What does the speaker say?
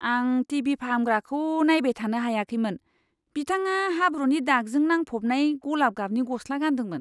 आं T. V. फाहामग्राखौ नायबाय थानो हायाखैमोन। बिथाङा हाब्रुनि दागजों नांफबनाय गलाब गाबनि गस्ला गानदोंमोन।